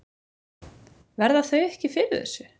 Verða þau ekki fyrir þessu?